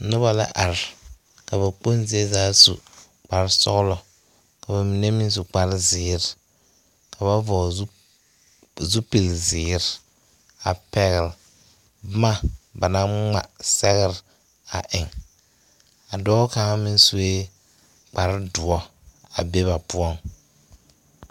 Noba la are ka ba kponzie su kparre sɔglɔ ka ba mine su kparre zeere ka ba zɔgli zupili zeere a pɛgle boma banaŋ ŋmaa sɛgre eŋ a dɔɔ kaŋa meŋ sue kpare doɔ a be ba poɔŋ.